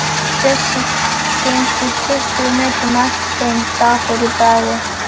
Bjössi gengur tuttugu metrum á eftir þeim, dapur í bragði.